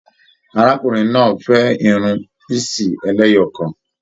Arákùnrin náà fẹ Irun pisi ẹlẹ́yọọkan.